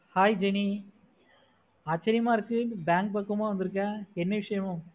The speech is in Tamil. hai jeni ஆச்சிரியமா இருக்கு bank பக்கமா வந்துருக்க என்ன விஷயம்